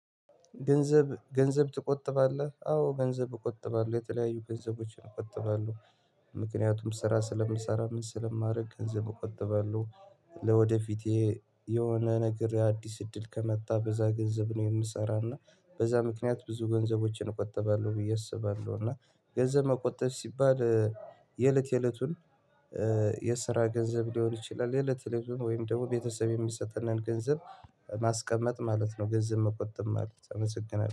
ገንዘብ ገንዘብ ትቆጥባለህ አዎ ገንዘብ እቆጥባለህ የተለያዩ ገንዘቦችን እቆጥባለሁ። ምክንያቱም ስራ ስለምሰራ ምን ስለማረግ ገንዘብ እቆጥባለሁ። ለወደፊቴ የሆነ ነገር አዲስ እድል ከመጣ በዛ ገንዘብ ነው የምሰራው እና በዛ ምክንያት ብዙ ገንዘቦችን እቆጥባለሁ ብዬ አስባለሁ። እና ገንዘብ መቆጠብ ሲባል የእለት የእለቱን የስራ ገንዘብ ሊሆን ይችላል የእለት ዕለቱን ወይም ደግሞ ቤተሰብ የሚሰጠንን ገንዘብ ማስቀመጥ ማለት ነው። ገንዘብ መቆጠብ ማለት አመሰግናለሁ